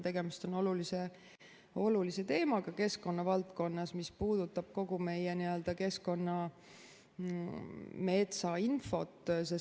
Tegemist on olulise teemaga keskkonnavaldkonnas, mis puudutab kogu meie keskkonna metsainfot.